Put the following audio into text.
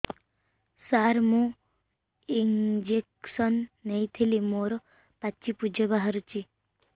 ସାର ମୁଁ ଇଂଜେକସନ ନେଇଥିଲି ମୋରୋ ପାଚି ପୂଜ ବାହାରୁଚି